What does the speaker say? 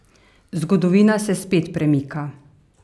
Zgodovina se spet premika.